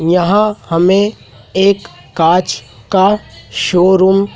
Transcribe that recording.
यहां हमे एक कांच का शोरूम --